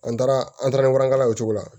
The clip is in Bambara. An taara an taara kala o cogo la